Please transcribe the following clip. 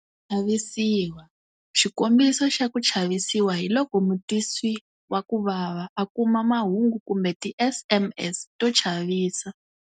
Ku chavisiwa- Xikombiso xa ku chavisiwa hi loko mutwisiwakuvava a kuma mahungu kumbe ti-SMS to chavisa.